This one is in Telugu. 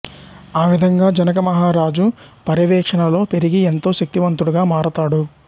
ఆ విధముగా జనకమహరజు పర్యవేక్షణలో పెరిగి ఎంతో శక్తివంతుడుగా మారతాడు